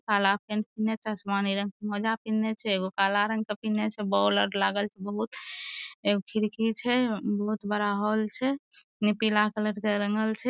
काला पेंट पिन्हने छै आसमानी रग के मोजा पिन्हने छै एगो काला रंग पिन्हने छै बोल आर लागल छै बहुत एगो खिड़की छै बहुत बड़ा हॉल छै पीला कलर के रंगल छै।